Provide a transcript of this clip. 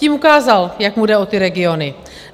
Tím ukázal, jak mu jde o ty regiony.